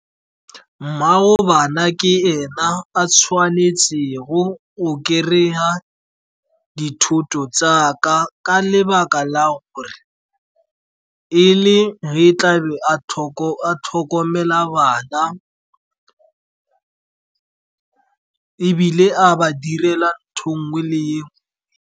Mmaago bana ke ena a tshwanetsego go kry-a dithoto tsaka ka lebaka la gore, e le ge tla be a tlhokomela bana ebile a ba direla ntho e nngwe le e nngwe.